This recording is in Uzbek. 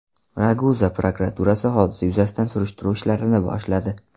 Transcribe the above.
Raguza prokuraturasi hodisa yuzasidan surishtiruv ishlarini boshladi.